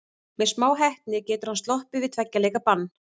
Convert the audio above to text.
Með smá heppni getur hann sloppið við tveggja leikja bann.